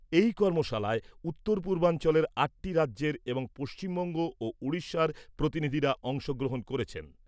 এই কর্মশালায় উত্তর পূর্বাঞ্চলের আটটি রাজ্যের এবং পশ্চিমবঙ্গ ও উড়িষ্যার প্রতিনিধিরা অংশ গ্রহণ করেছেন।